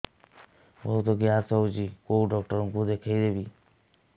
ବହୁତ ଗ୍ୟାସ ହଉଛି କୋଉ ଡକ୍ଟର କୁ ଦେଖେଇବି